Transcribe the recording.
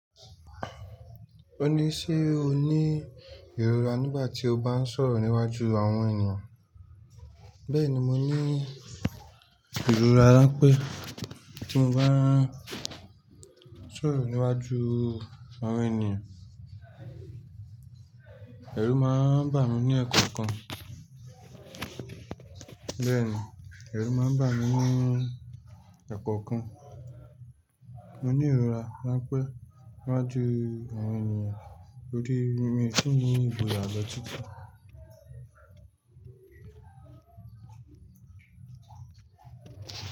O ní, "Ṣé o ní ìrora nígbà tí o bá ń sọ̀rọ̀ níwájú àwọn ènìyàn? Bẹ́ẹ̀ni, mo ní ìrora ránpẹ́ tí mo bá ń sọ̀rọ̀ níwájú àwọn ènìyàn. Ẹ̀rù máa ń bà mí ní ẹ̀kọ̀kan. Bẹ́ẹ̀ni, ẹ̀rù máa ń bà mí ní ẹ̀kọ̀kan. Mo ní ìrora ránpẹ́ níwájú àwọn ènìyàn torí mi ò tíì ní ìbò àlọ́ títa.